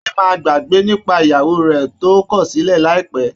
Adé máa gbàgbé nípa ìyàwó rẹ̀ tó kọ̀sílẹ̀ láìpẹ́